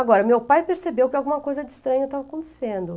Agora, meu pai percebeu que alguma coisa de estranho estava acontecendo.